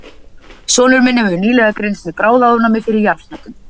Sonur minn hefur nýlega greinst með bráðaofnæmi fyrir jarðhnetum.